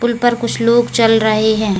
पुल पर कुछ लोग चल रहे हैं।